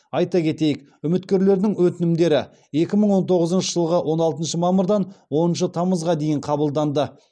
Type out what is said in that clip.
айта кетейік үміткерлердің өтінімдері екі мың он тоғызыншы жылғы он алтыншы мамырдан оныншы тамызға дейін қабылданды